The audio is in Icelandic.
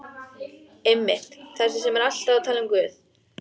Einmitt- þessi sem er alltaf að tala um Guð.